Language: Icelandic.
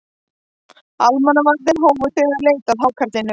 Almannavarnir hófu þegar leit að hákarlinum